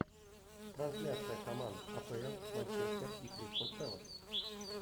трансляция команд апл манчестер и кристал пэлас